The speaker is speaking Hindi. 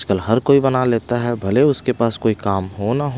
आजकल हर कोई बना लेता है भले उसके पास कोई काम हो ना--